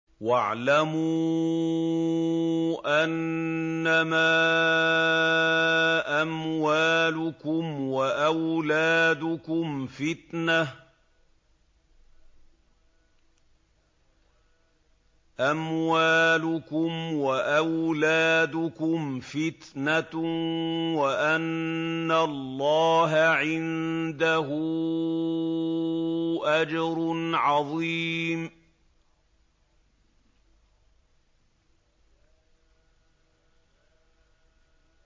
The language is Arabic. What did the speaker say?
وَاعْلَمُوا أَنَّمَا أَمْوَالُكُمْ وَأَوْلَادُكُمْ فِتْنَةٌ وَأَنَّ اللَّهَ عِندَهُ أَجْرٌ عَظِيمٌ